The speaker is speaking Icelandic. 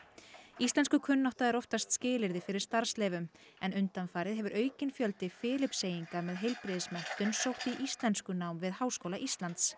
íslenskukunnátta er oftast skilyrði fyrir starfsleyfi en undanfarið hefur aukinn fjöldi Filippseyinga með sótt í íslenskunám við Háskóla Íslands